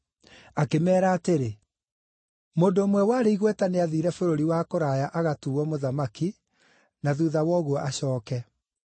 Akĩmeera atĩrĩ: “Mũndũ ũmwe warĩ igweta nĩathiire bũrũri wa kũraya agatuuo mũthamaki, na thuutha wa ũguo acooke.